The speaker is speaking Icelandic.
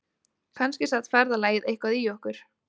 Kannski sat ferðalagið eitthvað í okkur